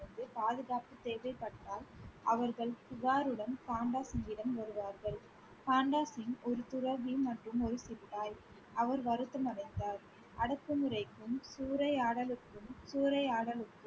இருந்து பாதுகாப்பு தேவைப்பட்டால் அவர்கள் புகாருடன் பண்டா சிங்கிடம் வருவார்கள் பண்டாசிங் ஒரு துறவி மற்றும் ஒரு சிப்பாய் அவர் வருத்தம் அடைந்தார். அடக்குமுறைக்கும் சூறையாடலுக்கும் சூறையாடலுக்கும்